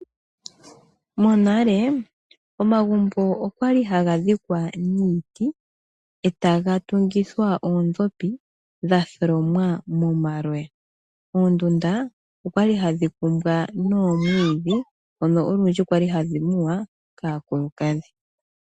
Monalenale omagumbo ohali haga tungwa niiti taya longitha oondhopi dha tholomwa moma loyal oondundu okwali hadhi kumbwa noomwiidhi odho olwindji kwali hadhi muwa kaakulukadhi.